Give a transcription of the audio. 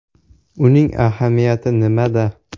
Uning ahamiyati nimada?